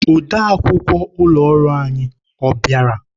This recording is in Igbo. Ode akwukwọ ụlọ ọrụ anyị, ọ bịara?